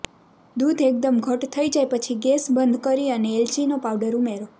દૂધ એકદમ ઘટ્ટ થઈ જાય પછી ગેસ બંધ કરી અને એલચીનો પાવડર ઉમેરો